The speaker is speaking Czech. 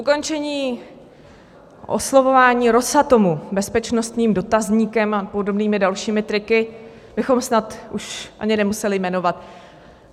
Ukončení oslovování Rosatomu bezpečnostním dotazníkem a podobnými dalšími triky bychom snad už ani nemuseli jmenovat.